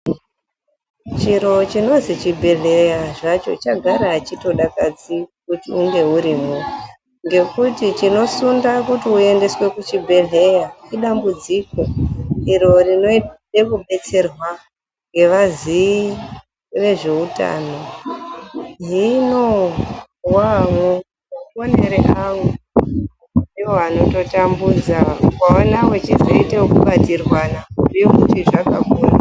Chiro chinozi chibhedhleya zvacho chagara achitodakadzi kuti unge urimwo ngekuti chinosunda kuti uendeswe kuchibhedhleya idambudziko iro rinode kudetserwa ngevaziyi vezveutano ,hino waamwo maonere angu ndiwo anototambudza, ukaona wechizoiteekubatirwana kubhuye kuti zvakaoma.